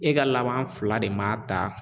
E ka laban fila de ma